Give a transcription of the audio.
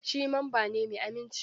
Shi mamba ne mai aminci.